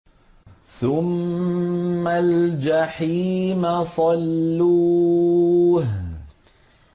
ثُمَّ الْجَحِيمَ صَلُّوهُ